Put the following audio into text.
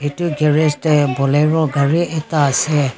etu garage te bolero gari ekta ase.